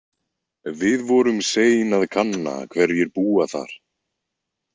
Við vorum sein að kanna hverjir búa þar.